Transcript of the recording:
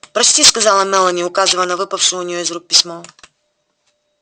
прочти сказала мелани указывая на выпавшее у неёе из рук письмо